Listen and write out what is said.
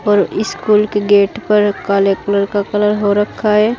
और स्कूल की गेट पर काले कलर का कलर हो रखा है।